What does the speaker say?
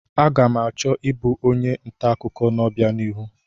Aga m achọ ịbụ onye nta akụkọ n'ọbianihu.